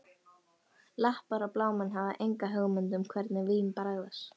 Lappar og blámenn hafa enga hugmynd um hvernig vín bragðast